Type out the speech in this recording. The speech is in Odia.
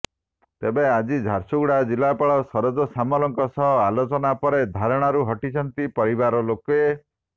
ତେବେ ଆଜି ଝାରସୁଗୁଡ଼ା ଜିଲ୍ଲାପାଳ ସରୋଜ ସାମଲଙ୍କ ସହ ଆଲୋଚନା ପରେ ଧାରଣାରୁ ହଟିଛନ୍ତି ପରିବାରଲୋକେ